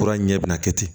Kura ɲɛ bina kɛ ten